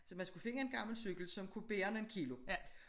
Så man skulle finde en gammel cykel som kunne bære nogle kilo